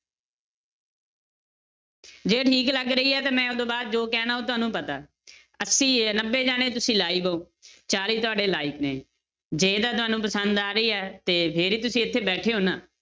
ਜੇ ਠੀਕ ਲੱਗ ਰਹੀ ਹੈ ਤੇ ਮੈਂ ਉਹ ਤੋਂ ਬਾਅਦ ਜੋ ਕਹਿਣਾ ਉਹ ਤੁਹਾਨੂੰ ਪਤਾ ਅੱਸੀ ਹੈ ਨੱਬੇ ਜਾਣੇ ਤੁਸੀਂ live ਹੋ ਚਾਲੀ ਤੁਹਾਡੇ like ਨੇ, ਜੇ ਤਾਂ ਤੁਹਾਨੂੰ ਪਸੰਦ ਆ ਰਹੀ ਹੈ ਤੇ ਜਿਹੜੀ ਤੁਸੀਂ ਇੱਥੇ ਬੈਠੇ ਹੋ ਨਾ